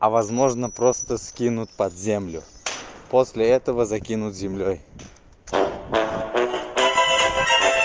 а возможно просто скинуть под землю после этого закинуть землёй